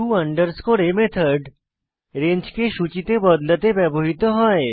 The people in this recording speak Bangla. টো a মেথড রেঞ্জকে সূচীতে বদলাতে ব্যবহৃত হয়